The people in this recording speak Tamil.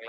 ஆஹ்